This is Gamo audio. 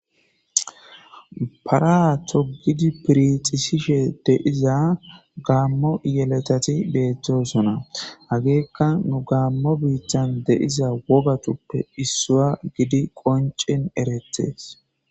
Para togidi phirdhisishe de'za gamo yeletati betosona hageka nu gamo bitan de'iza wogatupe issuwa gidi qonc'in eretes.